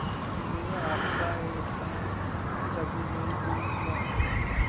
मैं आपका एहसान कभी नहीं भूलूंगा